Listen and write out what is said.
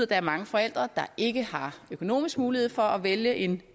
der er mange forældre der ikke har økonomisk mulighed for at vælge en